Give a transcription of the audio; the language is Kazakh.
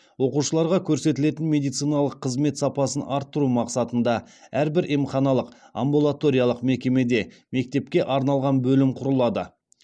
оқушыларға көрсетілетін медициналық қызмет сапасын арттыру мақсатында әрбір емханалық амбулаториялық мекемеде мектепке арналған бөлім құрылады